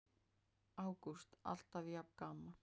Ágúst: Alltaf jafn gaman?